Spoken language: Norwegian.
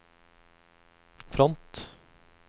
front